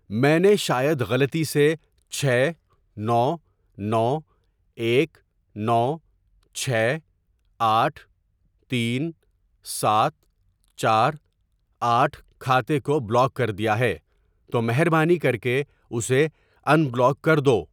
میں نے شاید غلطی سےچھ نو نو ایک نو چھ آٹھ تین سات چار آٹھ کھاتے کو بلاک کر دیا ہے، تو مہربانی کرکے اسے ان بلاک کر دو۔